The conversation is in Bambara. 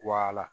Wa